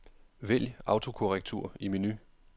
Vælg autokorrektur i menu.